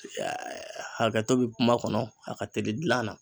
hakɛto bɛ kuma kɔnɔ a ka teli dilan na.